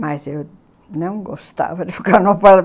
Mas eu não gostava de ficar